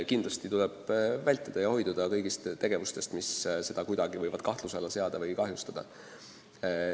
Kindlasti tuleb hoiduda kõigist tegevustest, mis võivad seda kuidagi kahtluse alla seada või kahjustada.